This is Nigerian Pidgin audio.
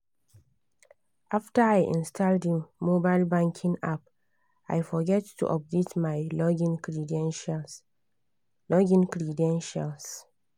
after i install the mobile banking app i forget to update my login credentials. login credentials.